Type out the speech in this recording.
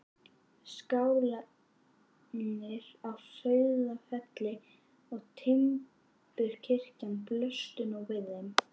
Skálarnir á Sauðafelli og timburkirkjan blöstu nú við þeim.